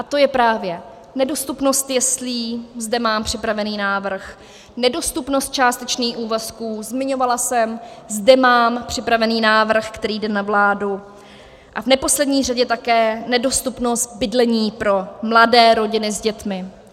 A to je právě nedostupnost jeslí, zde mám připravený návrh, nedostupnost částečných úvazků, zmiňovala jsem, zde mám připravený návrh, který jde na vládu, a v neposlední řadě také nedostupnost bydlení pro mladé rodiny s dětmi.